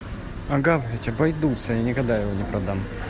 а говорить обойдутся я никогда его не продам